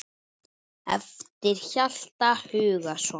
eftir Hjalta Hugason